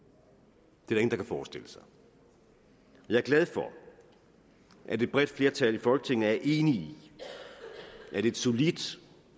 det er der kan forestille sig jeg er glad for at et bredt flertal i folketinget er enige i at et solidt